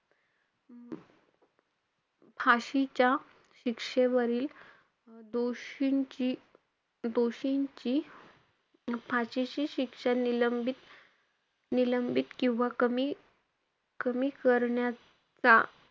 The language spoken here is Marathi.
फाशीच्या शिक्षेवरील दोषींची~ दोषींची फाशीची शिक्षा निलंबित~ निलंबित किंवा कमी~ कमी करण्याचा,